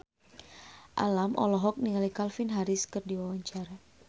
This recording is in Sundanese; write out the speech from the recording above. Alam olohok ningali Calvin Harris keur diwawancara